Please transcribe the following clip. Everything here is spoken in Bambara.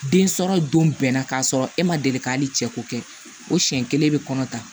Den sɔrɔ don bɛnna k'a sɔrɔ e ma deli ka hali cɛ ko kɛ o siɲɛ kelen bɛ kɔnɔ ta